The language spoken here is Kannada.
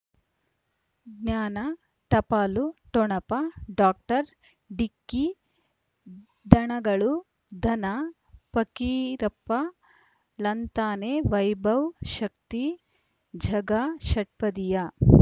ಜ್ಞಾನ ಟಪಾಲು ಠೊಣಪ ಡಾಕ್ಟರ್ ಢಿಕ್ಕಿ ಧನಗಳು ಧನ ಫಕೀರಪ್ಪ ಳಂತಾನೆ ವೈಭವ್ ಶಕ್ತಿ ಝಗಾ ಷಟ್ಪದಿಯ